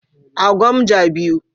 A Gwamja 2.